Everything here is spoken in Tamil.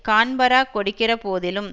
கான்பரா கொடுக்கிறபோதிலும்